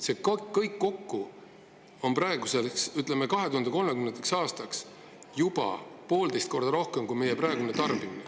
See kõik kokku on, ütleme, 2030. aastaks juba poolteist korda rohkem kui meie praegune tarbimine.